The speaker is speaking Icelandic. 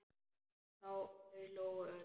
Þau hlógu öll.